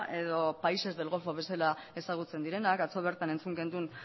edo países del golfo bezala ezagutzen direnak atzo bertan entzun genuen